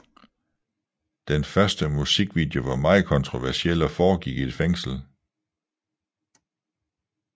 Den første musikvideo var meget kontroversiel og foregik i et fængsel